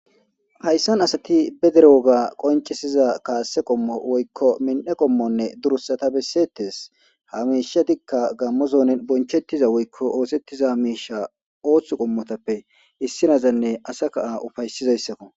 hayssan asati be dere woga qoncisiza kaasse qommo woykko min7e qommonne durusata besseettes hamiisha dikka gammozoon bonchettiza woykko oosettiza miisha ooththu qommotappe issinazanne asa kaa ufaysizayssakko